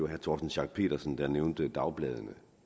herre torsten schack pedersen nævnte dagbladenes